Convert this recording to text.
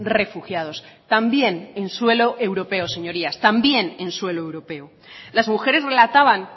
refugiados también en suelo europeo señorías también en suelo europeo las mujeres relataban